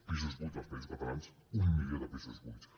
pisos buits als països catalans un milió de pisos buits